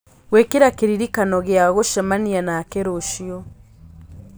gwĩkĩra kĩririkano gĩa gũcemania nake rũciũ